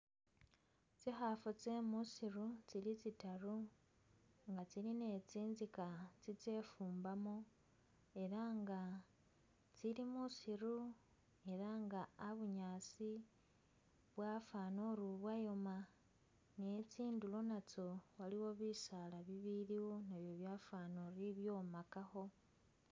Tsikhaafu tsye muusiru tsili tsitaru nga tsili ne tsinzika tsitse fumbamu ela nga tsili muusiru ela nga a'bunyaasi bwafwanile uri ubwoma ne tsindulo natsyo waliwo bisaala bibiliwo nabyo byafwaana uri bibyomakakho.